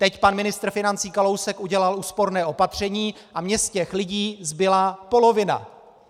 Teď pan ministr financí Kalousek udělal úsporné opatření a mně z těch lidí zbyla polovina!